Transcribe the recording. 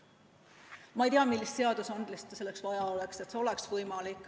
Ma ei tea, millist seadust selleks vaja oleks, et see oleks võimalik.